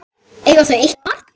Eiga þau eitt barn.